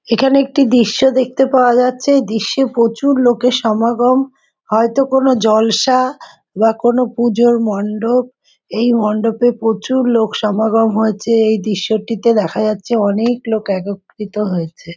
এখানে একটি দৃশ্য দেখতে পাওয়া যাচ্ছে। এই দৃশ্যে প্রচুর লোকের সমাগম। হয়তো কোনো জলসা বা কোনো পুজোর মণ্ডপ। এই মণ্ডপ এ প্রচুর লোক সমাগম হয়েছে এই দৃশ্য টিতে দেখা যাচ্ছে অনেক লোক একত্রিত হয়েছে।